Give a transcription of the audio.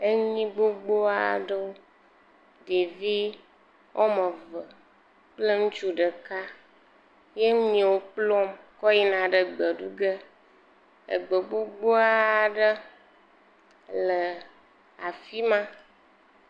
Enyi gbogbo aɖewo. Ɖevi wòa me eve kple ŋutsu ɖeka wò nyiwo kplɔm he yina egbɔ ɖu ge. Egbe gbogbo aɖe le afima.